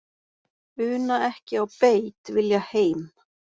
Una ekki á beit, vilja heim.